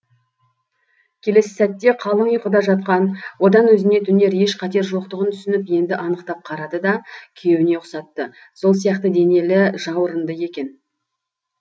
келесі сәтте қалың ұйқыда жатқан одан өзіне төнер еш қатер жоғын түсініп енді анықтап қарады да күйеуіне ұқсатты сол сияқты денелі жауырынды екен